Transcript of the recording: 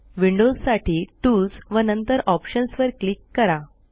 विंडोजसाठी tools व नंतर options वर क्लिक करा